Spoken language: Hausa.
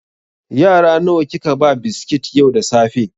Yara nawa kika ba biskit yau da safe?